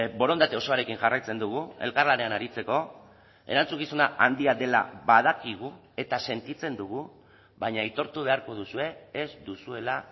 borondate osoarekin jarraitzen dugu elkarlanean aritzeko erantzukizuna handia dela badakigu eta sentitzen dugu baina aitortu beharko duzue ez duzuela